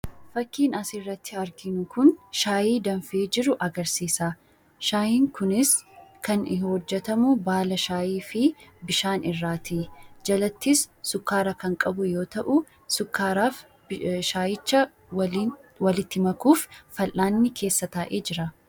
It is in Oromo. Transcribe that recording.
Fakkiin asirratti arginu kun shaayii danfee jiru agarsiisa. Shaayiin kunis kan hojjetamu baala shaayii fi bishaan irraa ti. Jalattis sukkaara kan qabu yoo ta'u, sukkaaraa fi shaayicha waliin walitti makuuf fal'aanni keessa taa'ee jira.